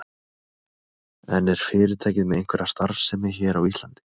En er fyrirtækið með einhverja starfsemi hér á Íslandi?